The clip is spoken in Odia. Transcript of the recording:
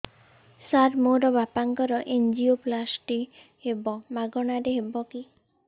ସାର ମୋର ବାପାଙ୍କର ଏନଜିଓପ୍ଳାସଟି ହେବ ମାଗଣା ରେ ହେବ କି